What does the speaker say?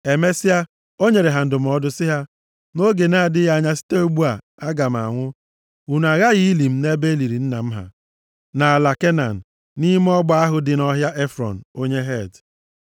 Emesịa, o nyere ha ndụmọdụ sị ha, “Nʼoge na-adịghị anya site ugbu a, aga m anwụ. Unu aghaghị ili m nʼebe e liri nna m ha, nʼala Kenan, nʼime ọgba ahụ dị nʼọhịa Efrọn, onye Het.